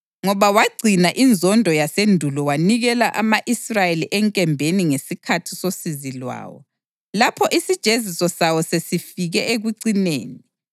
Ngoba wagcina inzondo yasendulo wanikela ama-Israyeli enkembeni ngesikhathi sosizi lwawo, lapho isijeziso sawo sasesifike ekucineni,